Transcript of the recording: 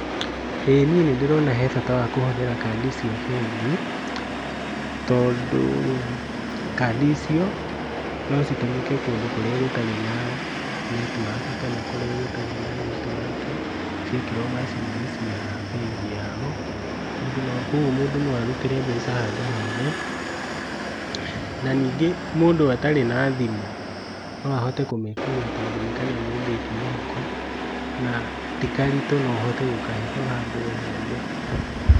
ĩĩ niĩ nĩndĩrona bata wa kũhũthĩra kadi cia bengi, tondũ kandi icio nocitũmĩke kũndũ kũrĩa gũtari na netiwaki kana kũrĩa gũtarĩ na netiwaki ciekĩrwo macini-inĩ cia bengi yao mũndũ no, kuogwo mũndũ no arutĩre mbeca handũ hothe. Na nyingĩ mũndũ atarĩ na thimũ , noahote kũmĩkua tondũ nĩkanyamũ ũngĩikia mũhuko na tikaritũ no ũhote gũkahitha handũ o hothe.